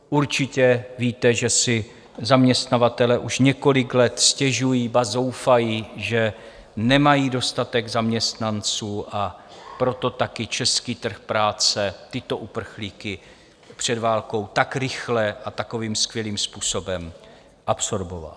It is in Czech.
Určitě víte, že si zaměstnavatelé už několik let stěžují, ba zoufají, že nemají dostatek zaměstnanců, a proto taky český trh práce tyto uprchlíky před válkou tak rychle a takovým skvělým způsobem absorboval.